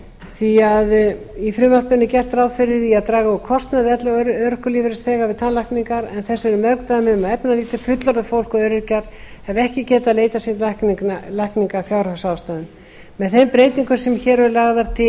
því að í frumvarpinu er gert ráð fyrir að draga úr kostnaði elli og örorkulífeyrisþega við tannlækningar en þess eru mörg dæmi að efnalítið fullorðið fólk og öryrkjar hafi ekki getað leitað sér lækninga af fjárhagsástæðum með þeim breytingum sem hér eru lagðar til